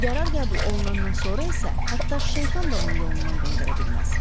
Qərar qəbul olunandan sonra isə hətta şeytan da onu yolundan döndərə bilməz.